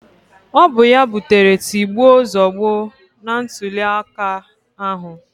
Ọ bụ ya butere tigbuo zọgbuo na ntụliaka ahụ